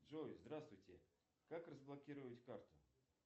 джой здравствуйте как разблокировать карту